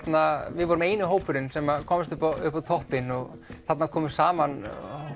við vorum eini hópurinn sem komst upp á upp á toppinn og þarna komu saman